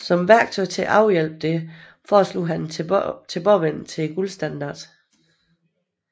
Som et værktøj til at afhjælpe dette foreslog han en tilbagevending til guldstandarden